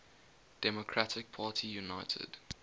democratic party united